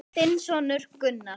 Þinn sonur, Gunnar.